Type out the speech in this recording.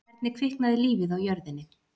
Hvernig kviknaði lífið á jörðinni?